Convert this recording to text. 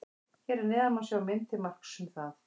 Hér að neðan má sjá mynd til marks um það.